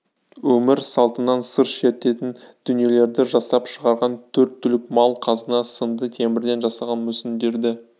өмір салтынан сыр шертетін дүниелерді жасап шығарған төрт түлік мал қазына сынды темірден жасалған мүсіндерді